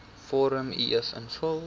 vorm uf invul